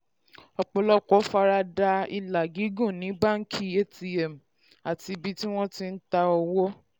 ọ̀pọ̀lọpọ̀ fara da ilà gígùn ní báńkì atm àti ibi tí wọ́n ti um ń ta owó.